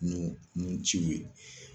Nun nun ciw ye